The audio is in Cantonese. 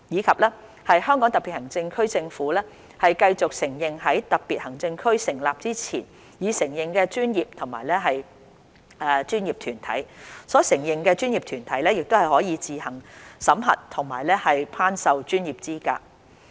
"及"香港特別行政區政府繼續承認在特別行政區成立前已承認的專業和專業團體，所承認的專業團體可自行審核和頒授專業資格。